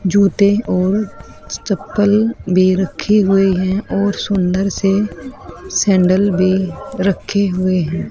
जूते और चप्पल भी रखे हुए हैं और सुंदर से सैंडल भी रखे हुए हैं।